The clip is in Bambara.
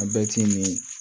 A bɛɛ ti nin